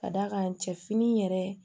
Ka d'a kan cɛ fini yɛrɛ